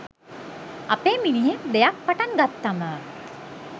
අපේ මිනිහෙක් දෙයක් පටන් ගත්තම